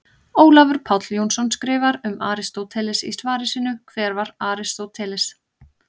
Ólafur Páll Jónsson skrifar um Aristóteles í svari sínu Hver var Aristóteles?